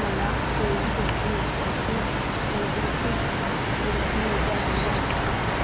मला कोइंबतूर पासून उडुपी जाण्या